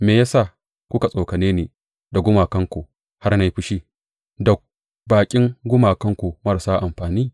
Me ya sa suka tsokane ni da gumakansu har na yi fushi, da baƙin gumakansu marasa amfani?